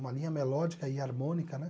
Uma linha melódica e harmônica, né?